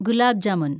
gulab jamun